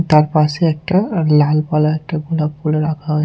তার পাশে একটা লাল পলার একটা ভোঁদাব ফুলও রাখা হোয়ে--